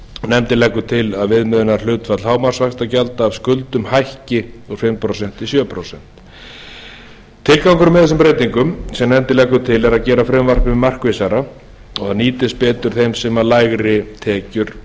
nefndin leggur til að viðmiðunarhlutfall hámarksvaxtagjalda af skuldum hækki úr fimm prósent í sjö prósent tilgangurinn með þeim breytingum sem nefndin leggur til er að gera frumvarpið markvissara og að það nýtist betur þeim sem lægri tekjur